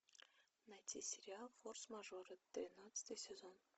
найти сериал форс мажоры тринадцатый сезон